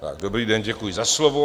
Dobrý den, děkuji za slovo.